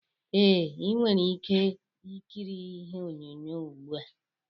Ee, ị nwere ike ịkiri ihe onyonyo ugbua